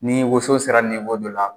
Ni woso sera dɔ la,